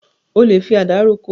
O lè fi àdá roko.